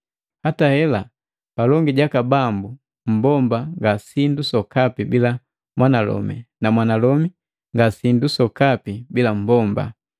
Hata hela, palongi jaka Bambu mmbomba ngasindu sokapi bila mwanalomi na mwanalomi ngasindu sokapi bila mmbomba.